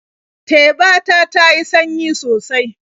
Teba ta ta yi sanyi sosai.